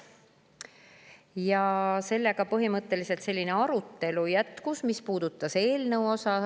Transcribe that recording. Ja sellega põhimõtteliselt selline arutelu, mis puudutas eelnõu.